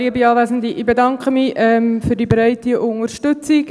Ich bedanke mich für die breite Unterstützung.